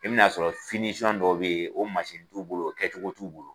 I bɛ n'a sɔrɔ dɔw bɛ ye o mansini t'u bolo o kɛcogo t'u bolo.